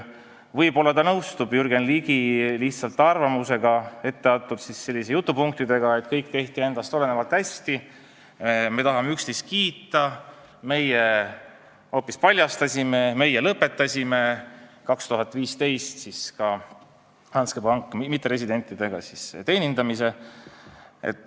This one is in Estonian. Võib-olla ta lihtsalt nõustub Jürgen Ligi arvamusega, etteantud jutupunktidega, et kõik, mis nendest olenes, tehti hästi, neil on vaja üksteist kiita, sest nemad hoopis paljastasid ja lõpetasid 2015 Danske pangas mitteresidentide teenindamise.